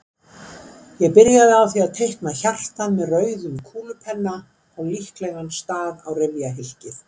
Ég byrjaði á því að teikna hjartað með rauðum kúlupenna á líklegan stað á rifjahylkið.